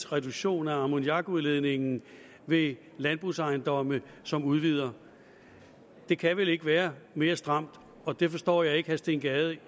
reduktion af ammoniakudledningen ved landbrugsejendomme som udvider det kan vel ikke være mere stramt og det forstår jeg ikke at herre steen gade